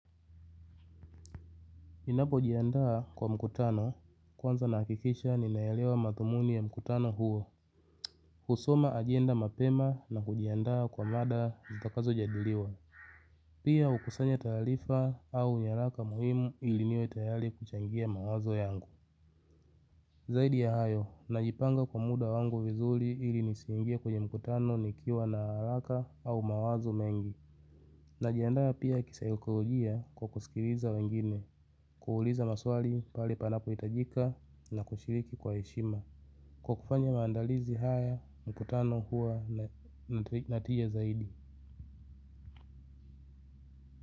Ninapo jiandaa kwa mkutano, kwanza nahakikisha ninayaelewa mathumuni ya mkutano huo. Kusoma ajenda mapema na kujiandaa kwa mada zitakazo jadiliwa. Pia hukusanya taarifa au nyalaka muhimu ili niwe tayari kuchangia mawazo yangu. Zaidi ya hayo, najipanga kwa muda wangu vizuri ilinisiingie kwenye mkutano nikiwa na haraka au mawazo mengi. Najiandaa pia kisaikolojia kwa kusikiliza wengine, kuuliza maswali pale panapo hitajika na kushiriki kwa heshima. Kwa kufanya maandalizi haya, mkutano hua natija zaidi.